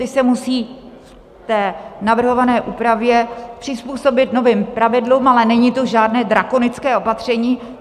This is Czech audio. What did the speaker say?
Ti se musí v navrhované úpravě přizpůsobit novým pravidlům, ale není to žádné drakonické opatření.